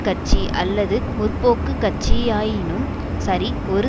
கட்சி அல்லது முற்போக்கு கட்சியாயினும் சரி ஒரு